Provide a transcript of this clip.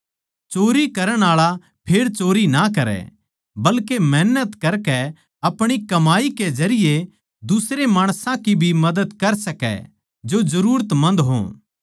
चोरी करण आळा फेर चोरी ना करै बल्के मेहनत करकै आपणी कमाई के जरिये दुसरे माणसां की भी मदद कर सकै जो जरूरत मन्द हो